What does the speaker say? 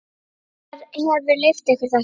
Hver hefur leyft ykkur þetta?